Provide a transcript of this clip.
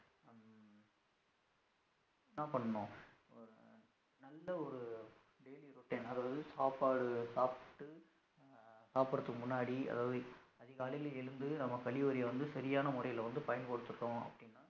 என்ன பண்ணனும் நல்ல ஒரு daily routine அதாவது சாப்பாடு சாப்டு சாப்புடுறதுக்கு முன்னாடி அதாவது அதிகாலையில் எழுந்து நாம கழிவரைய வந்து சரியான முறையில வந்து பயன்படுத்துடோம் அப்டின்னா